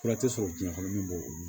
Fura tɛ sɔrɔ jiyɛn kɔnɔ min b'o olu